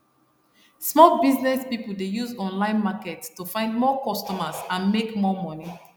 small business people dey use online market to find more customers and make more money